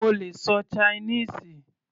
Mo lè ṣọ Chinese.